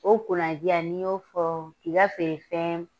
O kunnadija n'i y'o fɔ k'i ka feere fɛfɛn